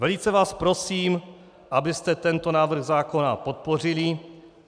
Velice vás prosím, abyste tento návrh zákona podpořili.